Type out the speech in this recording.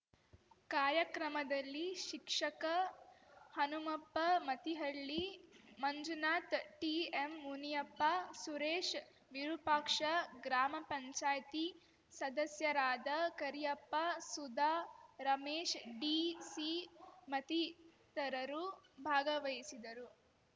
ಕಾರ್ಯಕ್ರಮದಲ್ಲಿ ಶಿಕ್ಷಕ ಹನುಮಪ್ಪಮತಿಹಳ್ಳಿ ಮಂಜುನಾಥ್ ಟಿಎಂ ಮುನಿಯಪ್ಪ ಸುರೇಶ್ ವಿರೂಪಾಕ್ಷ ಗ್ರಾಮ ಪಂಚಾಯಿತಿ ಸದಸ್ಯರಾದ ಕರಿಯಪ್ಪ ಸುಧಾ ರಮೇಶ್ಡಿಸಿ ಮತಿತರರು ಭಾಗವಹಿಸಿದ್ದರು